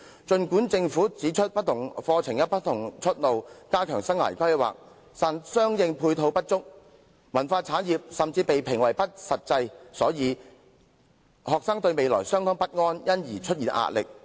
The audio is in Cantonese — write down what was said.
雖然政府曾經指出，不同課程有不同出路，並且會加強生涯規劃，但相應配套不足，文化產業甚至被評為不切實際，以致學生對未來感到十分不安和備受壓力。